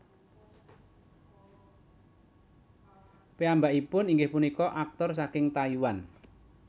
Piyambakipun inggih punika aktor saking Taiwan